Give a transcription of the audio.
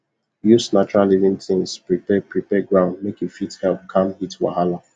use natural living tins prepare prepare ground make e fit help calm heat wahala